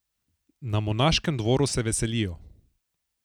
Na monaškem dvoru se veselijo.